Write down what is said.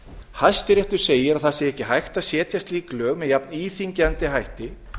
hæstiréttur segir að ekki sé hægt að setja slík lög með jafn íþyngjandi hætti